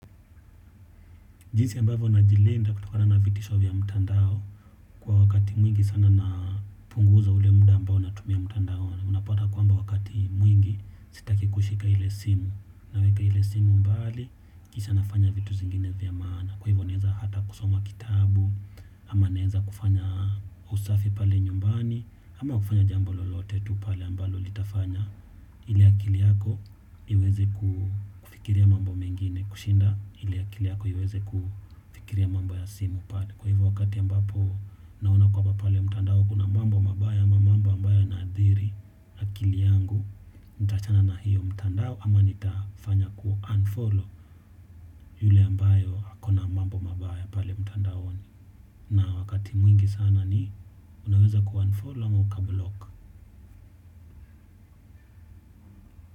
Jinsi ambavyo najilinda kutokana na vitisho vya mutandao kwa wakati mwingi sana napunguza ule muda ambao natumia mutandao unapota kuamba wakati kikushika ile simu naweka ile simu mbali kisha nafanya vitu zingine vya maana kwa hivyo naeza hata kusoma kitabu ama naeza kufanya usafi pale nyumbani ama kufanya jambo lolote tu pale ambalo litafanya ili akili yako iweze kufikiria mambo mengine kushinda ili akili yako iweze kufikiria mambo ya simu. Kwa hivyo wakati ambapo naona kwaba pale mtandao kuna mambo mabaya ama mambo mambo yanaadhiri. Kili yangu nitachana na hiyo mtandao ama nitafanya kuunfollow yule ambayo ako na mambo mabaya pale mtandao ni. Na wakati mwingi sana ni unaweza kuunfollow ama ukablock.